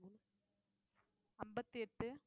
அம்பத்தி எட்டு